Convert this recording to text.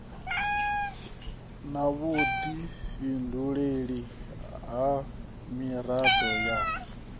na vhudifhinduleli ha mirado ya